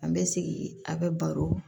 An bɛ segin a bɛ baro